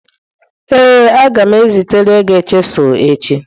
Ee a ga m ezitere gi chisilu echi.